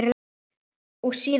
Og síðan koll af kolli.